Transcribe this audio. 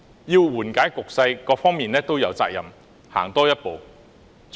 要緩解局勢，各方面都有責任多走一步。